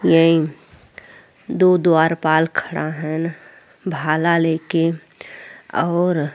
यही दु द्वारपाल खड़ा हएन भला लेके और --